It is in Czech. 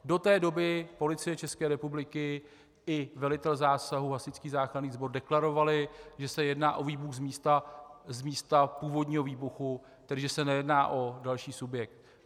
Do té doby Policie České republiky i velitel zásahu, hasičský záchranný sbor deklarovali, že se jedná o výbuch z místa původního výbuchu, takže se nejedná o další subjekt.